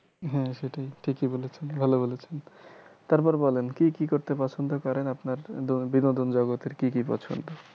হ্যাঁ সেটাই ঠিকই বলেছেন ভালো বলেছেন তারপর বলেন কি কি করতে পছন্দ করেন আপনার বিনোদন জগতের কি কি পছন্দ